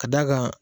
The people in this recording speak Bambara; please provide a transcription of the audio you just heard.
Ka d'a kan